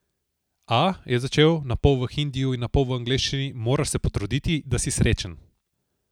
A, je začel, napol v hindiju in napol v angleščini, moraš se potruditi, da si srečen.